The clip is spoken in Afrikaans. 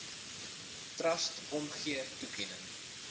trust omgee toekenning